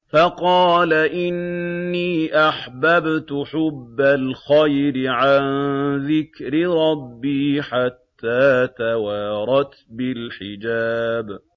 فَقَالَ إِنِّي أَحْبَبْتُ حُبَّ الْخَيْرِ عَن ذِكْرِ رَبِّي حَتَّىٰ تَوَارَتْ بِالْحِجَابِ